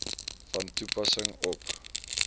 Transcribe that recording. van toepassing op